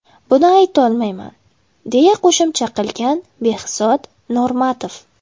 Buni aytolmayman”, deya qo‘shimcha qilgan Behzod Normatov.